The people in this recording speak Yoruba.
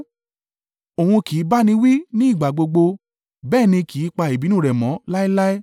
Òun kì í bá ni wí ní ìgbà gbogbo bẹ́ẹ̀ ni kì í pa ìbínú rẹ mọ́ láéláé,